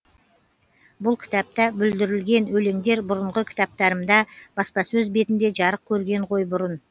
бұл кітапта бүлдірілген өлеңдер бұрынғы кітаптарымда баспасөз бетінде жарық көрген ғой бұрын